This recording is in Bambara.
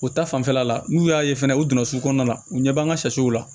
O ta fanfɛla la n'u y'a ye fɛnɛ u donna su kɔnɔna la u ɲɛ b'an ka sɛsow la